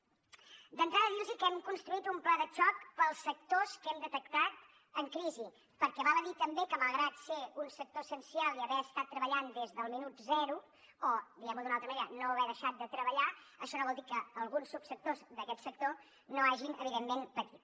d’entrada dir los que hem construït un pla de xoc per als sectors que hem detectat en crisi perquè val a dir també que malgrat ser un sector essencial i haver estat treballant des del minut zero o diguem ho d’una altra manera no haver deixat de treballar això no vol dir que alguns subsectors d’aquest sector no hagin evidentment patit